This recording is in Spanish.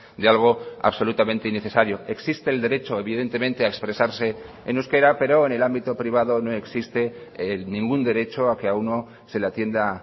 de algo absolutamente innecesario existe el derecho evidentemente a expresarse en euskera pero en el ámbito privado no existe ningún derecho a que a uno se le atienda